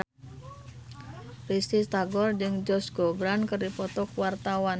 Risty Tagor jeung Josh Groban keur dipoto ku wartawan